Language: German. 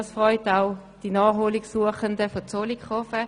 Das freut auch die Naherholungssuchenden aus Zollikofen.